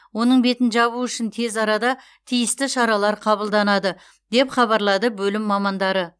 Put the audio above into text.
оның бетін жабу үшін тез арада тиісті шаралар қабылданады деп хабарлады бөлім мамандары